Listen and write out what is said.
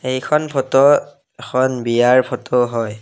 এইখন ফটো এখন বিয়াৰ ফটো হয়।